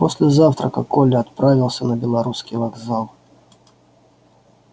после завтрака коля отправился на белорусский вокзал